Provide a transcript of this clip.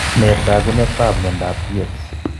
Nee taakunetaab myondap Tietz